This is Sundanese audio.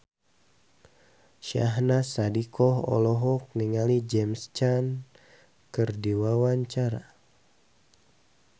Syahnaz Sadiqah olohok ningali James Caan keur diwawancara